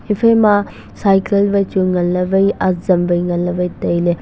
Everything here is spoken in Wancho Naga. ephaima cycle wai chu nganley wai azam nganley wai tailey.